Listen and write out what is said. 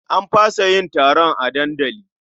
An fasa yin taron a dandali.